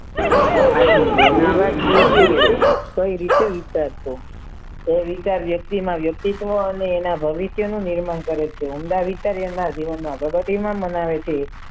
આટલી વહેલી વાત એ છે કે કઈ રીતે વિચારશો તો વિચાર વ્યક્તિમાં વ્યક્તિત્વ અને એના ભવિષ્યનું નિર્માણ કરે છે ઉમદા વિચાર્યાના જીવનમાં પ્રગતિમાં મનાવે છે